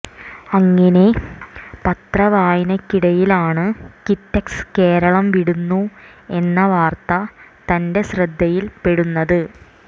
അങ്ങിനെ പത്ര വായനക്കിടയിലാണ് കിറ്റക്സ് കേരളം വിടുന്നു എന്ന വാർത്ത തന്റെ ശ്രദ്ധയിൽ പെടുന്നത്